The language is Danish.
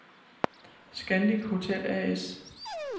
Scandic Hotel A/S